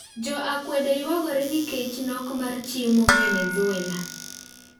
Jo akwede ywagore nikech nok mar chiemo Venezuela